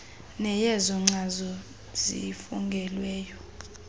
neyezo nkcazo zifungelweyo